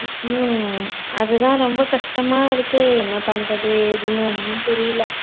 உம் அதான் ரொம்ப கஷ்டமா இருக்கு. என்ன பண்றது ஏதுன்னு ஒன்னும் புரியல